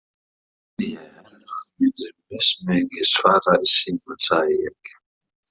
Ég held að þú myndir mestmegnis svara í símann, sagði ég.